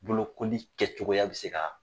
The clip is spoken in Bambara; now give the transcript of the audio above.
Bolokoli kɛcogoya bɛ se ka